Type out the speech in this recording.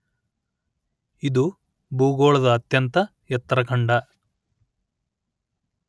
ಇದು ಭೂಗೋಳದ ಅತ್ಯಂತ ಎತ್ತರದ ಖಂಡ